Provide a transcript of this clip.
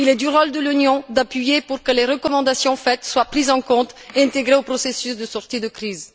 Il est du rôle de l'Union d'insister pour que les recommandations faites soient prises en compte et intégrées au processus de sortie de crise.